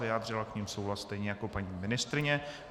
Vyjádřila k nim souhlas stejně jako paní ministryně.